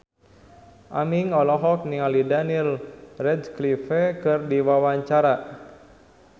Aming olohok ningali Daniel Radcliffe keur diwawancara